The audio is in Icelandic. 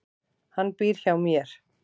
Hann býr hjá mér.